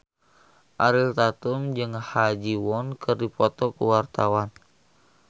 Ariel Tatum jeung Ha Ji Won keur dipoto ku wartawan